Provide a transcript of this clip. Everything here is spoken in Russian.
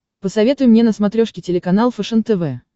посоветуй мне на смотрешке телеканал фэшен тв